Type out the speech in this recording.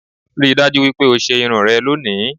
Rí i dájú wípé o ṣe irun rẹ lónìí